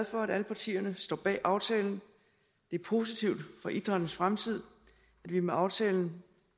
for at alle partierne står bag aftalen det er positivt for idrættens fremtid at vi med aftalen